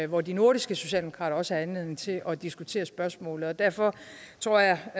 hvor de nordiske socialdemokrater også havde anledning til at diskutere spørgsmålet derfor tror jeg